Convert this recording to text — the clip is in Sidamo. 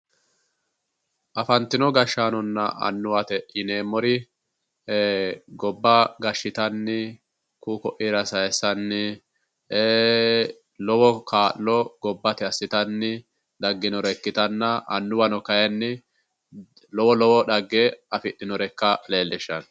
Afantino gashshaanonna annuwate yineemmori gobba gashshitanni ku'u ko'iira sayise uyitanni lowo kaa'lo gobbate assitanni dagginore ikkitanna, lowo lowo dhagge afidhinore ikkase leellishanno.